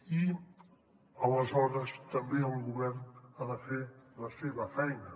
i aleshores també el govern ha de fer la seva feina